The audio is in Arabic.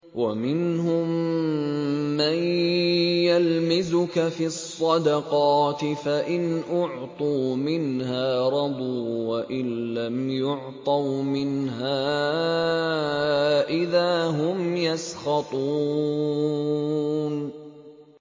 وَمِنْهُم مَّن يَلْمِزُكَ فِي الصَّدَقَاتِ فَإِنْ أُعْطُوا مِنْهَا رَضُوا وَإِن لَّمْ يُعْطَوْا مِنْهَا إِذَا هُمْ يَسْخَطُونَ